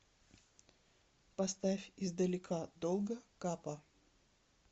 поставь из далека долго капа